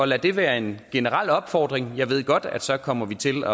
lad det være en generel opfordring jeg ved godt at så kommer vi til